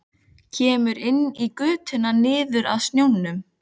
Kemur inn í götuna niður að sjónum.